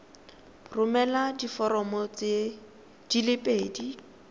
romela diforomo di le pedi